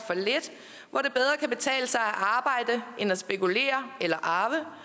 har arbejde end at spekulere eller arve